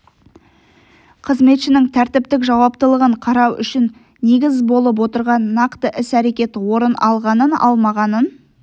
қызметшінің тәртіптік жауаптылығын қарау үшін негіз болып отырған нақты іс-әрекет орын алғанын-алмағанын